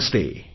नमस्ते